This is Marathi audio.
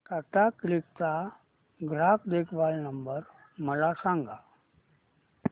टाटा क्लिक चा ग्राहक देखभाल नंबर मला सांगा